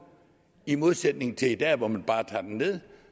i modsætning til i dag hvor man bare tager den ned